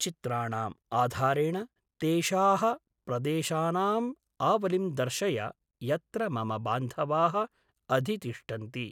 चित्राणाम् आधारेण तेषाः प्रदेशानाम् आवलिं दर्शय यत्र मम बान्धवाः अधितिष्ठन्ति।